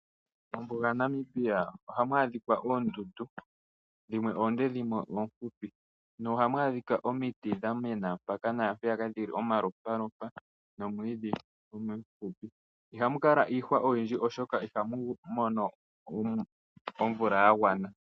Mombuga yaNamibia ohamu adhika oondundu dhimwe oonde, dhimwe oofupi nohamu adhika omiti dha mena mpeyaka naampeyaka, dhili omalopalopa nomwiidhi. Ihamu kala iihwa oyindji, oshoka ihamu mono omvula ya gwana.